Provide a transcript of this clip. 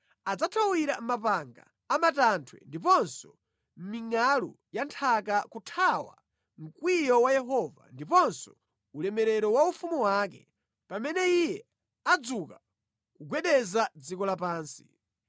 Adzathawira mʼmapanga a matanthwe ndiponso mʼmingʼalu ya nthaka kuthawa mkwiyo wa Yehova ndiponso ulemerero wa ufumu wake, pamene Iye adzuka kugwedeza dziko lapansi.